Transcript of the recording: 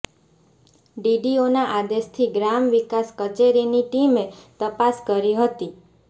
ડીડીઓના આદેશથી ગ્રામ વિકાસ કચેરીની ટીમે તપાસ કરી હતી